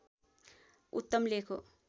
उत्तम लेख हो